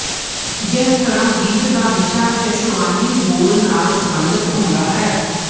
ਜਿਸ ਤਰ੍ਹਾਂ ਗੀਤ ਦਾ ਵਿਸ਼ਾ ਜਸ਼ਨਾਵੀ ਬੋਲ ਨਾਲ ਸੰਬੰਧਿਤ ਹੁੰਦਾ ਹੈ